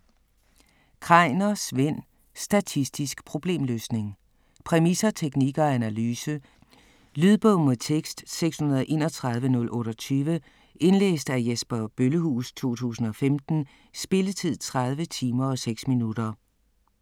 Kreiner, Svend: Statistisk problemløsning Præmisser, teknik og analyse. Lydbog med tekst 631028 Indlæst af Jesper Bøllehuus, 2015. Spilletid: 30 timer, 6 minutter.